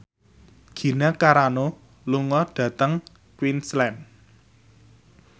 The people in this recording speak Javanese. Gina Carano lunga dhateng Queensland